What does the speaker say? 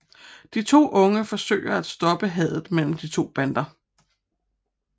De to unge forsøger at stoppe hadet mellem de to bander